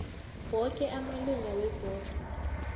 woke amalunga webhodo